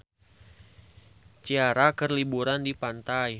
Ciara keur liburan di pantai